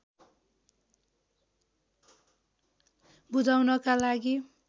बुझाउनका लागि